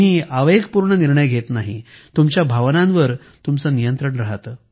तुम्ही आवेगपूर्ण निर्णय घेत नाही तुमच्या भावनांवर तुमचे नियंत्रण आहे